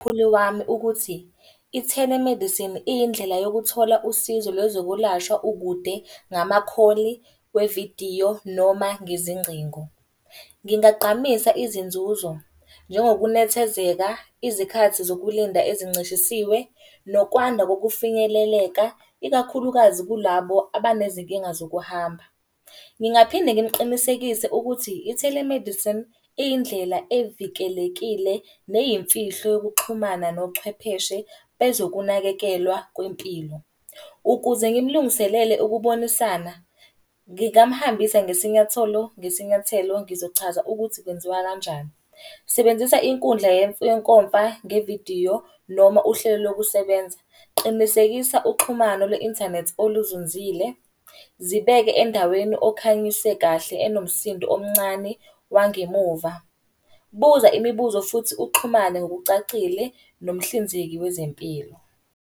Mkhulu wami ukuthi, i-telemedicine iyindlela yokuthola usizo lwezokulashwa ukude ngama kholi wevidiyo noma nezingcingo. Ngingagqamisa izinzuzo, njengokunethezeka, izikhathi zokulinda ezincishisiwe, nokwanda kokufinyeleleka ikakhulukazi kulabo abanezinkinga zokuhamba. Ngingaphinde ngimuqinisekise ukuthi i-telemedicine, iyindlela evikelekile, neyimfihlo yokuxhumana nochwepheshe bezokunakekelwa kwempilo. Ukuze ngimulungiselele ukubonisana, ngingamhambisa nesinyatholo ngesinyathelo, ngizochaza ukuthi kwenziwa kanjani. Sebenzisa inkundla yenkomfa ngevidiyo noma uhlelo lokusebenza. Qinisekisa uxhumano lwe-inthanethi oluzunzile. Zibeke endaweni okhanyise kahle enomsindo omncane wangemuva. Buza imibuzo futhi uxhumane ngokucacile nomhlinzeki wezempilo.